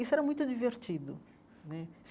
Isso era muito divertido né.